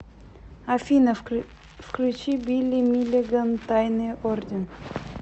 афина включи билли миллиган тайный орден